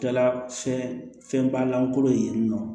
Kɛla fɛnba lankolon ye nɔ